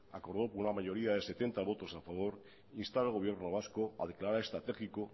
acordó por una mayoría de setenta votos a favor instar al gobierno vasco a declarar estratégico